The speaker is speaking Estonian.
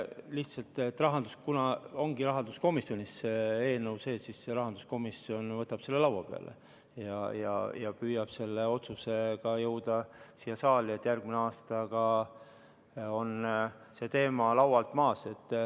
Lihtsalt, kuna see eelnõu on rahanduskomisjonis, siis rahanduskomisjon võtab selle laua peale ja püüab selle otsusega jõuda siia saali, et järgmisel aastal oleks see teema laualt maas.